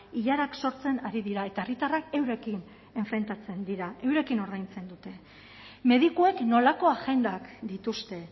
ilarak sortzen ari dira eta herritarrak eurekin enfrentatzen dira eurekin ordaintzen dute medikuek nolako agendak dituzte